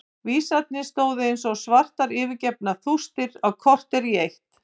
Vísarnir stóðu eins og svartar yfirgefnar rústir á kortér í eitt.